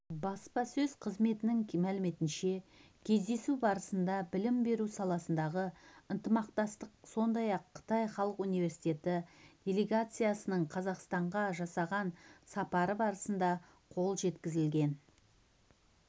баспасөз қызметінің мәліметінше кездесу барысында білім беру саласындағы ынтымақтастық сондай-ақ қытай халық университеті делегациясының қазақстанға жасаған сапары барысында қол жеткізілген